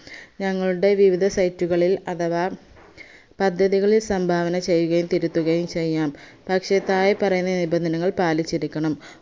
ഞങ്ങളുടെ വിവിധ site കളിൽ അഥവാ പദ്ധതികളിൽ സംഭാവന ചെയ്യുകയും തിരുത്തുകയും ചെയ്യാം പക്ഷെ താഴെ പറയുന്ന നിബന്ധനകൾ പാലിച്ചിരിക്കണം